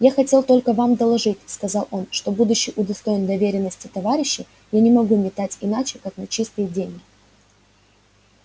я хотел только вам доложить сказал он что будучи удостоен доверенности товарищей я не могу метать иначе как на чистые деньги